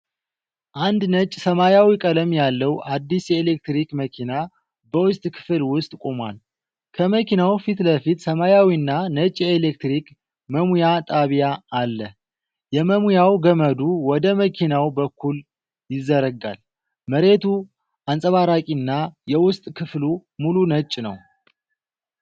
አንድ ነጭ-ሰማያዊ ቀለም ያለው አዲስ የኤሌክትሪክ መኪና በውስጥ ክፍል ውስጥ ቆሟል። ከመኪናው ፊት ለፊት ሰማያዊና ነጭ የኤሌክትሪክ መሙያ ጣቢያ አለ። የመሙያ ገመዱ ወደ መኪናው በኩል ይዘረጋል። መሬቱ አንጸባራቂና የውስጥ ክፍሉ ሙሉ ነጭ ነው።